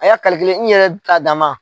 A y'a n yɛrɛ ta dama.